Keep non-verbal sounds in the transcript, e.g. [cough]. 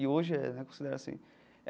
E hoje é, né? [unintelligible]